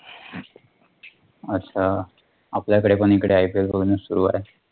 अच्छा. आपल्याकडे पण इकडे Ipl बघणं सुरु आहे